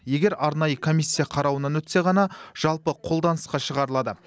егер арнайы комиссия қарауынан өтсе ғана жалпы қолданысқа шығарылады